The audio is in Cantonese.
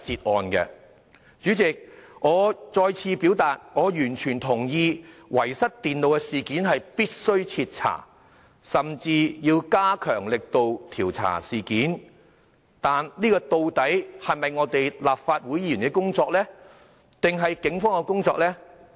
代理主席，我再次表達我完全同意遺失電腦的事件必須徹查，甚至要加強力度調查事件，但這究竟是立法會議員的工作，還是警方的工作呢？